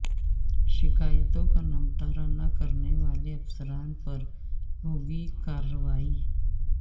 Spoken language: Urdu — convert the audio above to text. شکایتوں کا نمٹارہ نہ کرنے والے افسران پر ہوگی کارروائی